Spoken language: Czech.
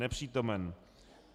Nepřítomen.